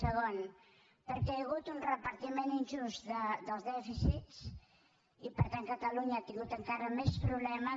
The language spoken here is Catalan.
segon perquè hi ha hagut un repartiment injust dels dèficits i per tant catalunya ha tingut encara més problemes